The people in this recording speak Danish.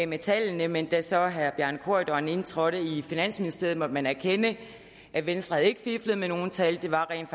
med tallene men da så herre bjarne corydon indtrådte i finansministeriet måtte man erkende at venstre ikke havde fiflet med nogen tal det var rent